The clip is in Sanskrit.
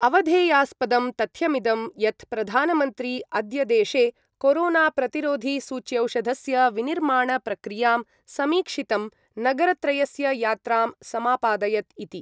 अवधेयास्पदं तथ्यमिदं यत् प्रधानमन्त्री अद्य देशे कोरोनाप्रतिरोधिसूच्यौषधस्य विनिर्माणप्रक्रियां समीक्षितं नगरत्रयस्य यात्रां समापादयत् इति।